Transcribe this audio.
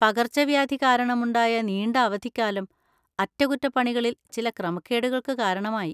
പകർച്ചവ്യാധി കാരണമുണ്ടായ നീണ്ട അവധിക്കാലം അറ്റകുറ്റപ്പണികളിൽ ചില ക്രമക്കേടുകൾക്ക് കാരണമായി.